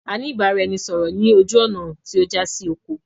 A ní ìbáraẹnisọọ̀rọ̀ ni ojú ọ́ná tí ó já sí oko.